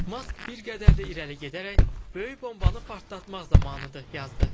Mask bir qədər də irəli gedərək Böyük bombanı partlatmaq zamanıdır yazdı.